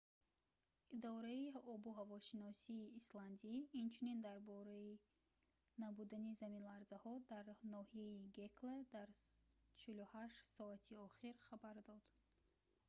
идораи обуҳавошиносии исландӣ инчунин дар бораи набудани заминларзаҳо дар ноҳияи гекла дар 48 соати охир хабар дод